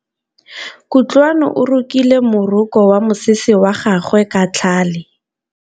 Kutlwanô o rokile morokô wa mosese wa gagwe ka tlhale.